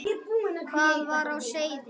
Hvað var á seyði?